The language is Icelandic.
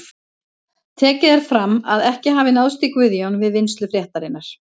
Tekið er fram að ekki hafi náðst í Guðjón við vinnslu fréttarinnar.